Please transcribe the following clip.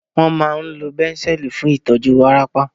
Wọ́n máa ń lo Banzel fún ìtọ́jú wárápá